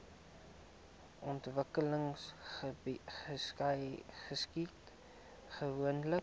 ontwikkeling geskied gewoonlik